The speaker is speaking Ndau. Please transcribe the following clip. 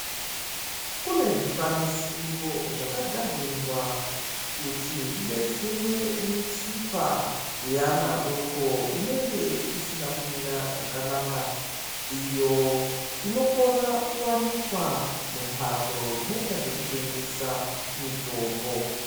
Kune zvikwanisiro zvakagadzirirwa kuti zvidetsere mitsipa yevana vadoko inenge isina kumira zvakanaka Iyo inokona kuwanikwa mumbatso dzinoita zvekutengesa mitombo.